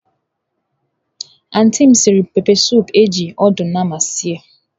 Antị m siri pepesụpụ eji ọdụ nama sie.